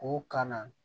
K'o ka na